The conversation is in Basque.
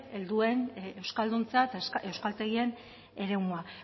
helduen euskalduntza eta euskaltegien eremua